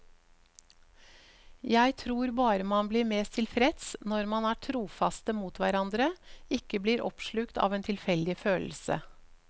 Jeg tror bare man blir mest tilfreds når man er trofaste mot hverandre, ikke blir oppslukt av en tilfeldig følelse.